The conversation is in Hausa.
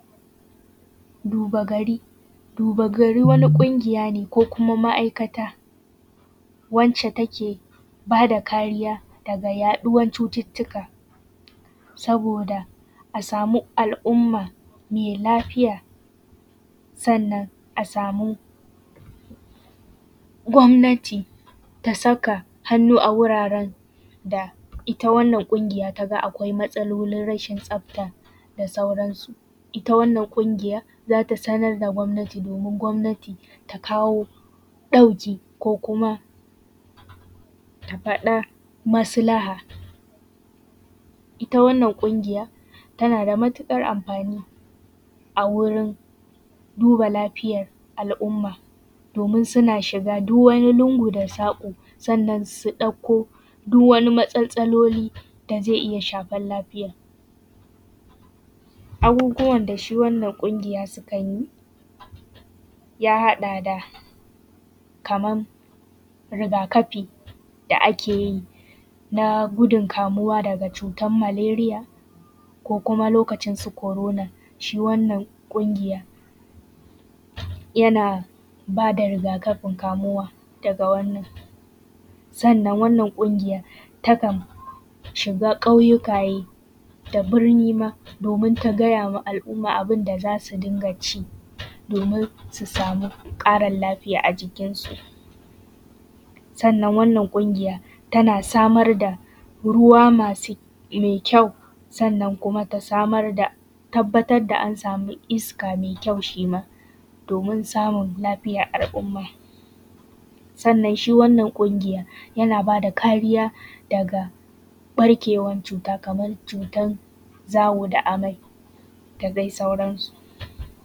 Duba gari, wani ƙunya ce ko ma’aikata, wacce take ba da kariya daga yaɗuwan cututtuka, saboda a samu al’umma mai lafiya. Sannan a samu gwabnati ta saka hannu a wuraren da, ita wannan ƙungiya ta ga akwai matsalolin rashin tsafta da sauransu. Ita wannan ƙungiya za ta sanar da gwabnati, domin ita gwabnati ta kawo ɗauki ko kuma, ta faɗa maslaha. Ita wannan ƙungiya tana da matuƙar amfani, a wurin duba lafiyar al’umma, domin suna shiga duk wani lungu da saƙo sannan su ɗauko duk wani matsastsaloli da zai iya shafan lafiya. Abubuwan da shi wannan ƙungiya sukan yi, ya haɗa da kaman riga-kafi da ake yi, na gudun kamuwa daga cutar maleriya ko kuma lokacin su korona, shi wannan ƙungiya yana ba da riga-kafi kamuwa daga wannan. Sannan wannan ƙungiya takan shiga ƙauyukaye, da birni ma domin ta gaya wa mutane ga abin da za su dinga ci domin su samu ƙarin lafiya a cikinsu. Sannan wannan ƙungiya tana samar da ruwa masu mai kyau, sannnan kuma ta samar da, tabbatar da an sami iska mai kyau shi ma, domin samun lafiyar al’umma. Sannan wannan ƙungiya, yana ba da kariya daga ɓarkewan cuta, kamar cutar zawo da amai da dai sauransu.